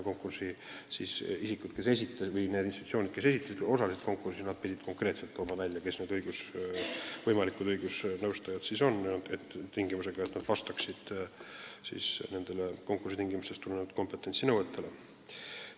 Kõik, kes osalesid konkursil, pidid konkreetselt märkima, kes need võimalikud õigusnõustajad on, ja muidugi pidid nad vastama konkursitingimustest tulenevatele kompetentsinõuetele.